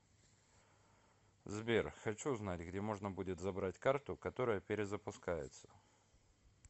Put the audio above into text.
сбер хочу узнать где можно будет забрать карту которая перезапускается